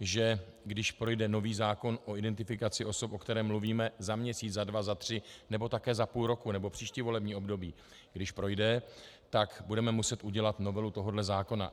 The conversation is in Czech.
že když projde nový zákon o identifikaci osob, o kterém mluvíme, za měsíc, za dva, za tři nebo také za půl roku nebo příští volební období, když projde, tak budeme muset udělat novelu tohohle zákona.